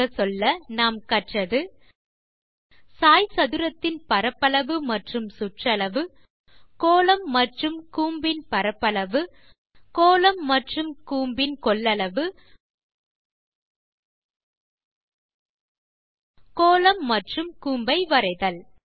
சுருங்கச்சொல்ல இந்த டுடோரியலில் நாம் கற்பது சாய்சதுரத்தின் பரப்பளவு மற்றும் சுற்றளவு கோளம் மற்றும் கூம்பின் பரப்பளவு கோளம் மற்றும் கூம்பின் கொள்ளளவு கோளம் மற்றும் கூம்பை வரைதல்